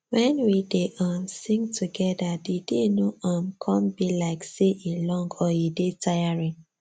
when we dey um sing together the day no um come be like say e long or e dey tiring